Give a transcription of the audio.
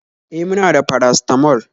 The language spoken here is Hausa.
E, muna da paracetamol